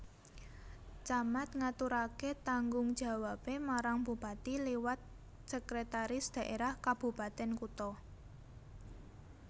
Camat ngaturaké tanggung jawabé marang bupati liwat Sekretaris Daerah Kabupatèn Kutha